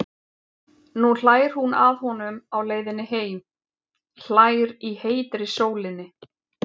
Nú hlær hún að honum á leiðinni heim, hlær í heitri sólinni.